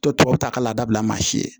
To tubabu ta k'a labila maa si ye